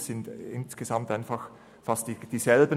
Es sind im Grunde genommen dieselben: